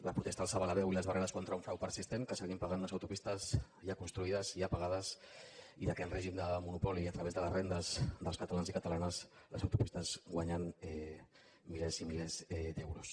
la protesta alçava la veu i les barreres contra un frau persistent que seguim pagant unes autopistes ja construïdes i ja pagades i que en règim de monopoli i a través de les rendes dels catalans i catalanes les autopistes guanyen milers i milers d’euros